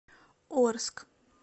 орск